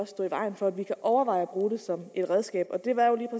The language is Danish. stå i vejen for at vi kan overveje at bruge det som et redskab det var jo